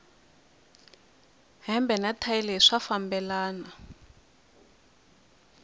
hembe na thayi leyi swa fambelana